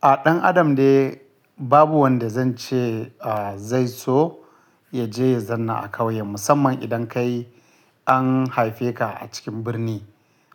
A ɗan adam dai babu wanda zan ce, a, zai so ya je ya zanna a kauye. Musamman idan kai an haife ka a cikin birni